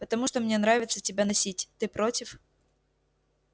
потому что мне нравится тебя носить ты против